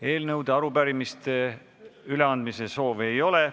Eelnõude ja arupärimiste üleandmise soove ei ole.